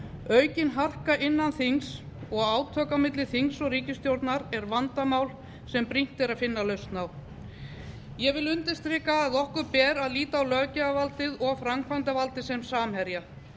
aukin harka innan þings og átök á milli þings og ríkisstjórnar eru vandamál sem brýnt er að finna lausn á ég vil undirstrika að okkur ber að líta á löggjafarvaldið og framkvæmdarvaldið sem samherja